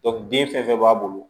den fɛn fɛn b'a bolo